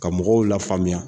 Ka mɔgɔw la faamuya